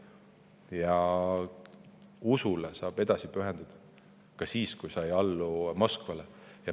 Ja usule saab edasi pühenduda ka siis, kui sa ei allu Moskvale.